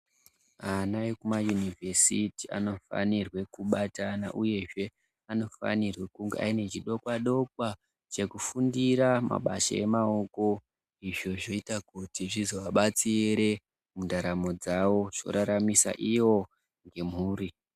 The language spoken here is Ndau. Ana ekumayunivhesiti anofanirwe kubatana uyezve anofanirwe kunge aine chidokwadokwa chekufundira mabasa emaoko izvo zvinoita kuti zvizovabatsire mundaramo dzavo zvoraramisa ivo nemhuri .